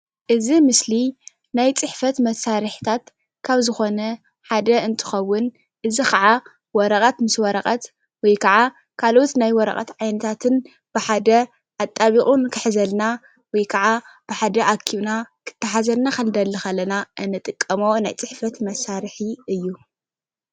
እዚ ምስሊ ናይ ፅሕፈት መሳርሒታት ካብ ዝኾነ ሓደ እንትከውን እዚ ከዓ ወረቐት ምስ ወረቐት ወይ ከዓ ካልኦት ናይ ወረቐት ዓይነታትን ብሓደ ኣጣቢቑ ንኽሕዘልና ወይ ከዓ ብሓደ ኣኪብና ክተሓዘልና ክንደሊ ከለና እንጥቀሞ ናይ ፅሕፈት መሳርሒ እዩ፡፡